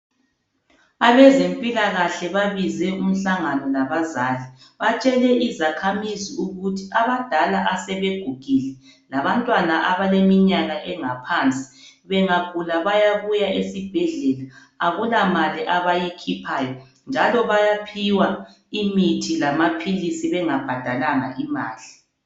Abezempilakahle babize umhlangano labazali. Batshele izakhamizi ukurhi abadala asebegugile labantwana abaleminyaka engaphansi bengagula bayabuya esibhedlela akula mali abayikhuphayo njalo bayaphiwa imithi lamaphilisi bengabhadalanga imali.